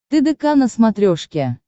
тдк на смотрешке